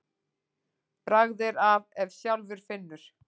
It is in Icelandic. Bragð er að ef sjálfur finnur.